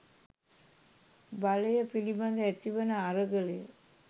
බලය පිළිබද ඇතිවන අරගලය